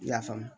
I y'a faamu